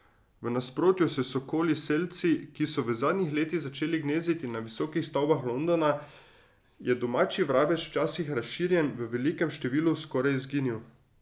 V nasprotju s sokoli selci, ki so v zadnjih letih začeli gnezditi na visokih stavbah Londona, je domači vrabec, včasih razširjen v velikem številu, skoraj izginil.